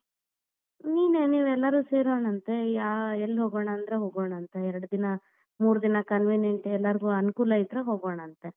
ನೀನೆ ನೀವೆಲ್ಲಾರು ಸೇರೋಣಾಂತೆ ಯಾ~ ಎಲ್ ಹೋಗೋಣ ಅಂದ್ರ ಹೋಗೋಣಾಂತ ಎರಡ್ ದಿನಾ ಮೂರ್ ದಿನಾ convenient ಎಲ್ಲಾರ್ಗು ಅನುಕೂಲ ಇದ್ರ ಹೋಗೋಣಾಂತ.